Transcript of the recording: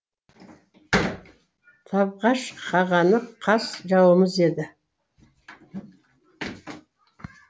табғаш қағаны қас жауымыз еді